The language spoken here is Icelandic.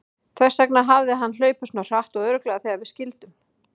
Þess vegna hafði hann hlaupið svona hratt og örugglega þegar við skildum.